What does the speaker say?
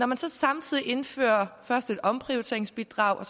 man så samtidig indfører et omprioriteringsbidrag